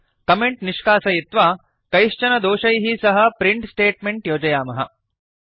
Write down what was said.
comment निष्कासयित्वा कैश्चन दोषैः सह प्रिंट् स्टेट्मेंट् योजयामः